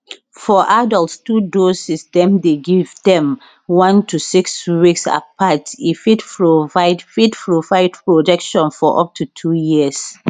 for adults 2 doses dem dey give dem 1 to 6 weeks apart e fit provide fit provide protection for up to 2 years